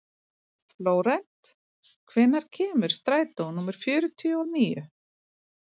Flórent, hvenær kemur strætó númer fjörutíu og níu?